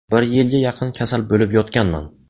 Bir yilga yaqin kasal bo‘lib yotganman.